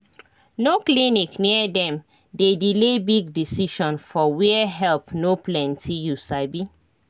no clinic near dem dey delay big decision for where help no plenty you sabi